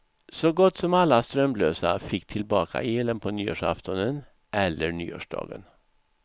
Så gott som alla tidigare strömlösa fick tillbaka elen på nyårsaftonen eller nyårsdagen.